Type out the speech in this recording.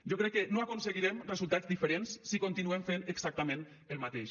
jo crec que no aconseguirem resultats diferents si continuem fent exactament el mateix